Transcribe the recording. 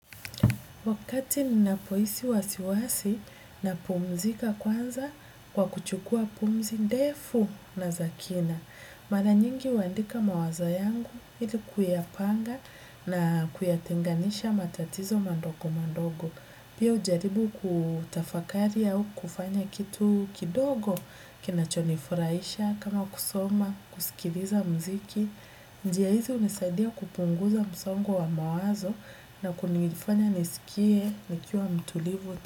Wakati ninapohisi wasiwasi, napumzika kwanza kwa kuchukua pumzi ndefu na za kina. Mara nyingi huandika mawazo yangu ili kuyapanga na kuyatenganisha matatizo madogo madogo. Pia hujaribu kutafakari au kufanya kitu kidogo kinachonifurahisha kama kusoma, kusikiliza muziki. Njia hizi hunisaidia kupunguza msongo wa mawazo, na kunifanya nesikie nikiwa mtulivu.